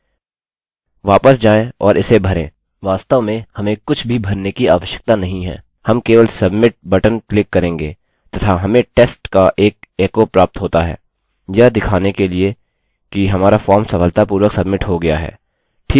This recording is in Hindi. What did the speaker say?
वापस जाएँ और इसे भरें वास्तव में हमें कुछ भी भरने की आवश्यकता नहीं है हम केवल submit बटन क्लिक करेंगे तथा हमें test का एक एको प्राप्त होता है यह दिखाने के लिए कि हमारा फॉर्म सफलतापूर्वक सब्मिट हो गया है